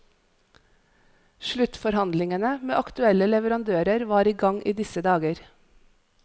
Sluttforhandlingene med aktuelle leverandører var i gang i disse dager.